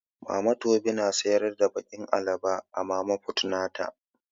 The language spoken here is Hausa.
Mama tobi na siyar da bakin alabo a mama fut nata.